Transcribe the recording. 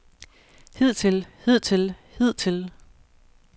hidtil hidtil hidtil